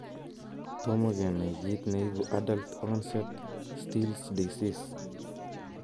Tomo kenai kiit neibu adult onset still's disease